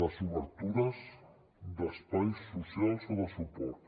les obertures d’espais socials o de suport